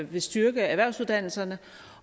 vil styrke erhvervsuddannelserne